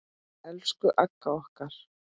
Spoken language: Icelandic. Elsku Agga okkar.